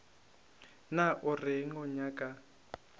na o reng o nyaka